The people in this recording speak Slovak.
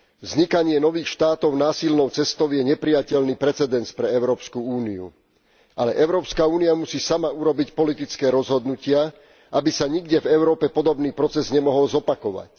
Vznikanie nových štátov násilnou cestou je neprijateľný precedens pre Európsku úniu, ale Európska únia musí sama urobiť politické rozhodnutia, aby sa nikde v Európe podobný proces nemohol zopakovať.